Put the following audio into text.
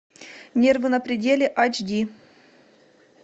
нервы на пределе аш ди